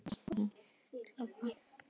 Eru einhver merki um það?